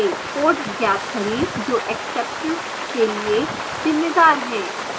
code ज्ञात करें जो exception के लिए जिम्मेदार है